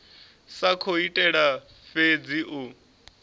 sa khou itela fhedzi u